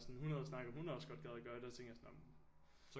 Sådan hun havde snakket sådan hun også godt gad at gøre det så tænkte jeg sådan nå men